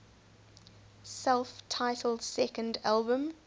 self titled second album